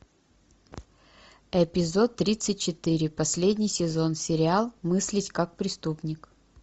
эпизод тридцать четыре последний сезон сериал мыслить как преступник